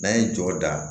N'an ye jɔ da